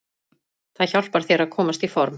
Það hjálpar þér að komast í form.